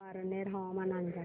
पारनेर हवामान अंदाज